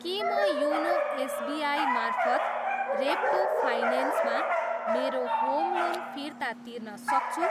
के म YONO SBI मार्फत रेप्को फाइनेन्समा मेरो होम लोन फिर्ता तिर्न सक्छु?